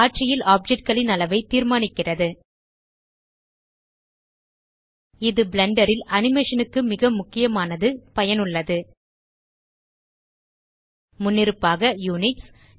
காட்சியில் ஆப்ஜெக்ட் களின் அளவை தீர்மானிக்கிறது இது பிளெண்டர் ல் அனிமேஷன் க்கு மிக முக்கியமானது பயனுள்ளது முன்னிருப்பாக யுனிட்ஸ்